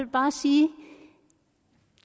bare sige at